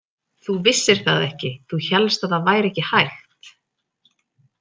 Þú vissir það ekki, þú hélst að það væri ekki hægt.